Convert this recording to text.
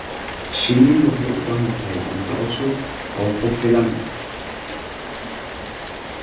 Shinnidu waxay u baahan tahay cunto cusub oo ku filan.